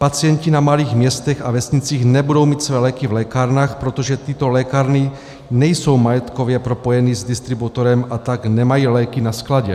Pacienti na malých městech a vesnicích nebudou mít své léky v lékárnách, protože tyto lékárny nejsou majetkově propojeny s distributorem, a tak nemají léky na skladě.